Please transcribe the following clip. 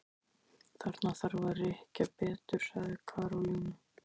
Þarna þarf að rykkja betur sagði Karólína.